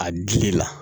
A dili la